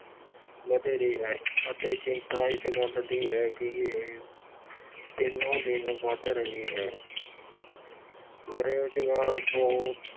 ਵਧੇਰੇ ਹੈ ਅਤੇ ਚਿੰਤਾ ਇਸ ਗੱਲ ਦੀ ਹੈ ਕਿ ਇਹ ਦਿਨੋਂ ਦਿਨ ਵੱਧ ਰਹੀ ਹੈ। ਬੇਰੁਜ਼ਗਾਰ ਬਹੁਤ